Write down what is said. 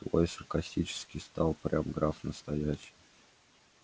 такой саркастический стал прям граф настоящий